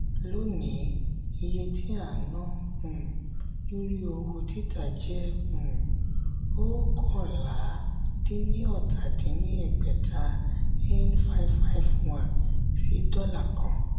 lónìí iye tí a ń ná um lórí owó títa jẹ́ um oókànlá-dín-ní-ọ́ta dín ní ẹgbẹ́ta (n five hundred fifty one ) sí dólà kan